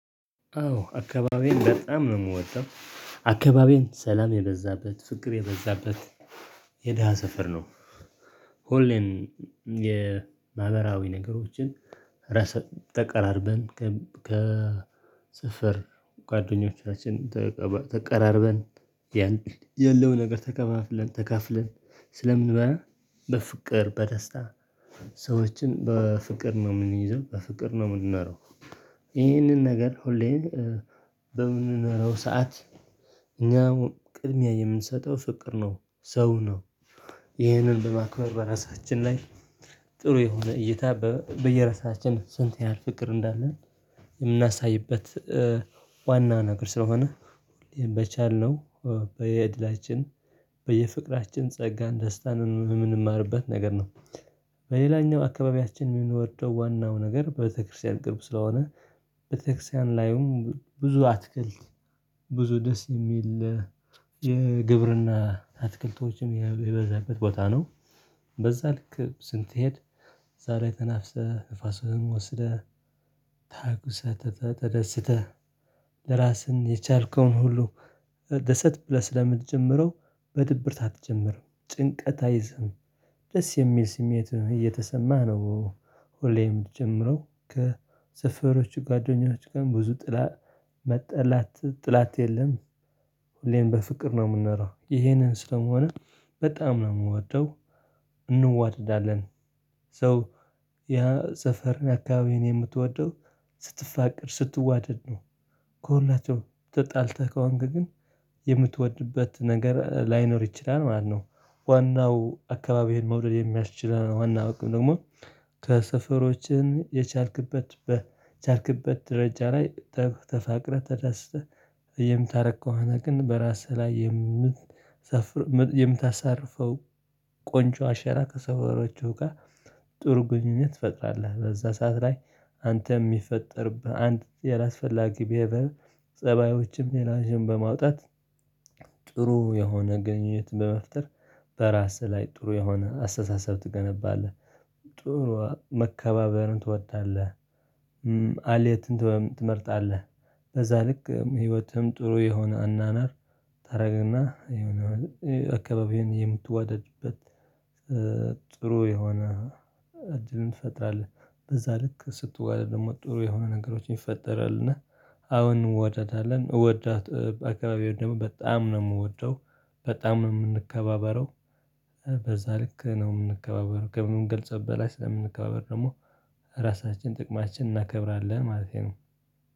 አዎ አካባቢዬን በጣም ነው የምወደው አካባቢዬን ሰላም የበዛበት ፍቅር የበዛበት የድሃ ስፍር ነው። ሁሌም የማህበራዊ ነገሮችን ረስ ተቀራርበን ከሰፈር ጓደኞቻችን ተቀባ ተቀራርበን ያለው ነገር ተከፋፍለን ተካፍለን ስለምንበላ በፍቅር በደስታ ሰዎችን በፍቅር ነው እምንይዘው በፍቅር ነው እምንኖረው። ይህንን ነገር ሁሌ በምንኖረው ሰዓት እኛ ቅድሚያ የምንሰጠው ፍቅር ነው ሰው ነው። ይሄንን በማክበር በራሳችን ላይ ጥሩ የሆነ እይታ በየራሳችን ስንት ያህል ፍቅር እንዳለን የምናሳይበት ዋና ነገር ስለሆነ በቻልነው በየድላችን በየፍቅራችን ጸጋ ደስታን እምንማርበት ነገር ነው። በሌላኛው አካባቢያችን አምንወደው ዋናው ነገር ቤተክርስቲያን ቅርብ ስለሆነ ቤተክርስቲያን ላይም ብዙ አትክልት ብዙ ደስ እሚል የግብርና አትክልቶችም የበዛበት ቦታ ነው። በዛ ልክ ስትሄድ ዛሬ ተናፍሰህ ንፋስህን ወስደህ ታግሰህ ተደስተህ ለራስህ የቻልከውን ሁሉ መደሰት ብለህ ስለምትጀምረው በድብርት አትጀምርም ጭንቀት አይዝህም። ደስ የሚል ስሜት እየተሰማህ ነው። ሁሌም እምትጀምረው ከሰፈሮቹ ጓደኞች ጋር ብዙ ጥላ መጥላት ጥላት የለም። ሁሌም በፍቅር ነው እምኖረው ይሄንን ስለሆነ በጣም ነው እምወደው። እንዋደዳለን ሶ ያ ሰፈር አካባቢን የምትወደው ስትፋቀር ስትዋደድ ነው። ከሁላቸው ተጣልተህ ከሆንክ ግን የምትወድበት ነገር ላይኖር ይችላል ማለት ነው። ዋናው አካባቢህን መውደድ የሚያስችለን ዋና በቃ ደሞ ከሰፈሮችን የቻልክበት በቻልክበት ደረጃ ላይ ተፋቅረህ ተደስተህ የምታረግ ከሆነ ግን በራስህ ላይየምታሳፍር የምታሳርፈው ቆንጆ አሻራ ከሰፈሮቹ ጋ ጥሩ ግንኙነት ትፈጥራለህ በዛ ሰዓት ላይ። አንተ እሚፈጠርብህ አንድ ያላስፈላጊ ብሄቨር ፀባዮችም ሌላም በማውጣት ጥሩ የሆነ ግንኙነት በመፍጠር በራስህ ላይ ጥሩ የሆነ አስተሳሰብ ትገነባለህ። ጥሩ መከባበርን ትወጣለህ አልየትን ትመርጣለህ። በዛ ልክ ህይወትህም ጥሩ የሆነ አናናር ታደርግና የሆነ አካባቢህን የምትዋደድበት ጥሩ የሆነ እድልን ትፈጥራለህ። በዛ ልክ ስትዋደድ ደሞ ጥሩ የሆነ ነገሮችን ይፈጠራል። እና አሁን እንዋደዳለን እወዳታ በአካባቢው ደግሞ በጣም ነው እምወደው በጣም ነው እምንከባበረው። በዛ ልክ ነው የምንከባበረው ከምንገልጸው በላይ ስለምንከባበር ደሞ ራሳችን ጥቅማችን እናከብራለን ማለቴ ነው።